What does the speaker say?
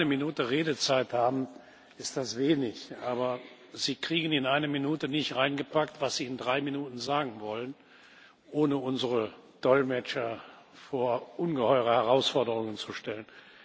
Wenn Sie nur eine Minute Redezeit haben, ist das wenig, aber Sie kriegen in eine Minute nicht hineingepackt, was Sie in drei Minuten sagen wollen, ohne unsere Dolmetscher vor ungeheure Herausforderungen zu stellen.